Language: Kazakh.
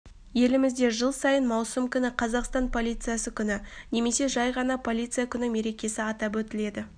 елімізде жыл сайын маусым күні қазақстан полициясы күні немесе жәй ғана полиция күні мерекесі атап өтіледі